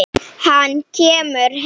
Hann kemur heim.